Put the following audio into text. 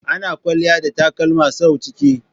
Ana kwalliya da takalma sau ciki.